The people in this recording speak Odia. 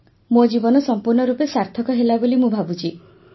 ମୋ ଜୀବନ ସମ୍ପୂର୍ଣ୍ଣ ରୂପେ ସାର୍ଥକ ହେଲା ବୋଲି ମୁଁ ଭାବୁଛି